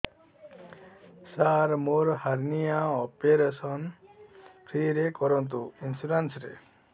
ସାର ମୋର hernia operation free ରେ କରନ୍ତୁ ଇନ୍ସୁରେନ୍ସ ରେ